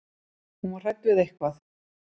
Hún var hrædd við eitthvað.